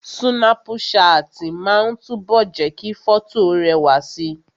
Súnápù ṣáàtì máa ń túbọ̀ jẹ́ kí fọ́tò rẹwà si